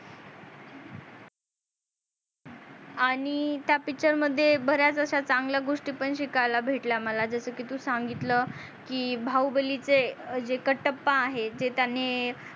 आणि त्या picture मध्ये बऱ्याच अश्या चांगल्या गोष्टी पण शिकायला भेटल्या मला जस की तू सांगितल की बाहुबली चे जे कटप्पा आहे ते त्यांनी